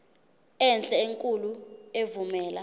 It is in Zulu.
enhle enkulu evumela